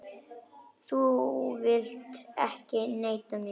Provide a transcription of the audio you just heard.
Þú vilt ekki neita mér.